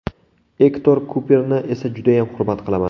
Ektor Kuperni esa judayam hurmat qilaman.